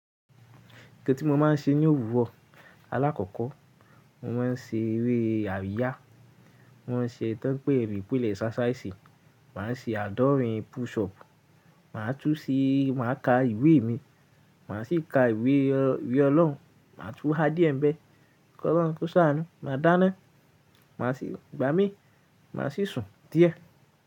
Nkan tí mo máa ń ṣe ní òwúrọ̀, alákọ̀ọ́kọ́ mo máa ń ṣe eré àríyá, mó máa ń ṣe ẹ́ tan npe ni exercise, mà á se àádọ́rin push up, mà á túu sí, mà á ka ìwé mi, mà á sì ka ìwé, ìwé Ọlọ́run, mà á túu há díẹ̀ bẹ́ẹ̀, kó ṣán, kó ṣàánú, mà á dáná, mà á sì gbá mi, mà á sì sùn díẹ̀